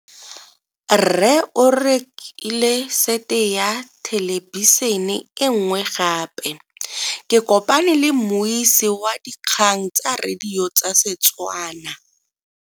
Rre o rekile sete ya thelebišene e nngwe gape. Ke kopane mmuisi w dikgang tsa radio tsa Setswana.